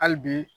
Hali bi